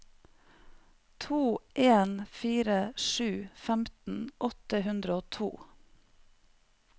to en fire sju femten åtte hundre og to